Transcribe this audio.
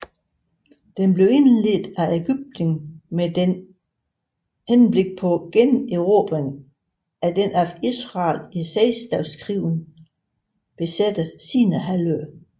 Den blev indledt af Ægypten med henblik på generobring af den af Israel i Seksdageskrigen besatte Sinaihalvø